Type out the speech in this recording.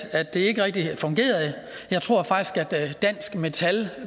at det ikke rigtig fungerede jeg tror faktisk at dansk metal